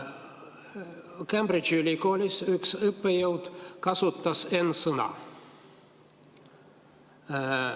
Cambridge'i ülikoolis üks õppejõud kasutas n‑sõna.